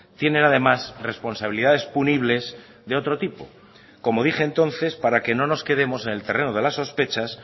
tienen además responsabilidades punibles de otro tipo como dije entonces para que no nos quedemos en el terreno de las sospechas